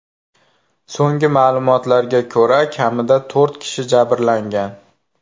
So‘nggi ma’lumotlarga ko‘ra, kamida to‘rt kishi jabrlangan.